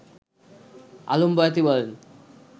আলম বয়াতি বলেন